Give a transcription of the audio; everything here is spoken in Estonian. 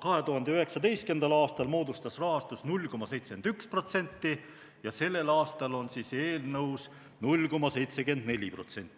2019. aastal moodustas 0,71% ja sellel aastal on eelnõus 0,74%.